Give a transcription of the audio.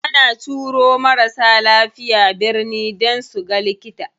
Ana turo marasa lafiya birni dan suga likita.